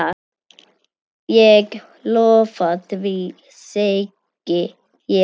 Ég lofa því, segi ég.